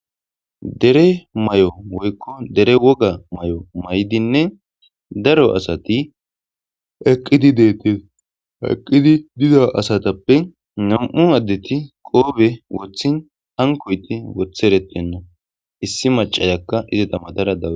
dere may7o woykko dere woga may7o may7dinne daro asati eqqidi deetees aqqidi dida asatappe nam7u addeti qoobe wothin hankoyti wotheretenno issi macayakka izeta madara dawu